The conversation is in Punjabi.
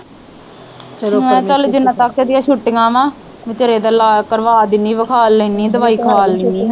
ਮੈ ਕਿਹਾ ਚਲ ਜਿਨ੍ਹਾਂ ਤਕ ਇਹ ਦੀਆ ਛੁੱਟੀਆਂ ਵਾ ਵਿਚਾਰੇ ਦਾ ਇਲਾਜ ਕਰਵਾ ਦਿਨੀ ਵਿਖਾਲ ਲੈਣੀ ਦਵਾਈ ਖਵਾਲ ਲੈਣੀ ਆ।